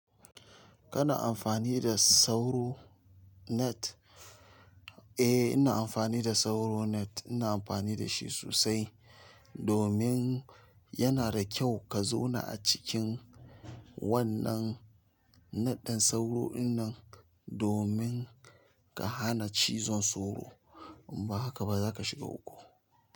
Kana amfani da sauro net? Eh, ina amfani da sauro net. Ina amfani da shi sosai domin yana da kyau ka zauna a cikin wannan net ɗin sauro dinnan domin ka hana cizon sauro in ba haka ba zaka shiga uku.